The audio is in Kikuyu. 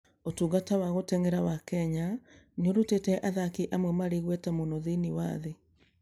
Ũtungata wa gũteng'era wa Kenya nĩ ũrutĩte athaki amwe marĩ igweta mũno thĩinĩ wa thĩ.